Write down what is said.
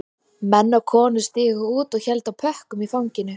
Menn og konur stigu út og héldu á pökkum í fanginu